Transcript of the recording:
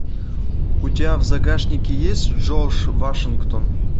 у тебя в загашнике есть джордж вашингтон